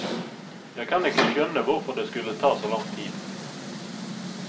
Jeg kan ikke skjønne hvorfor det skulle ta så lang tid.